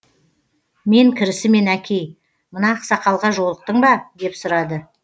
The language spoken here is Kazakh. мен кірісімен әкей мына ақсақалға жолықтың ба деп сұрады